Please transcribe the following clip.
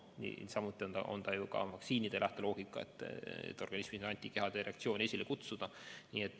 Niisamuti on ka vaktsiinide lähteloogika, et need peavad organismis antikehade reaktsiooni esile kutsuma.